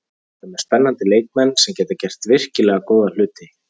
Við erum með spennandi leikmenn sem geta gert virkilega góða hluti.